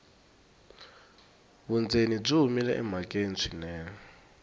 vundzeni byi humile emhakeni swinene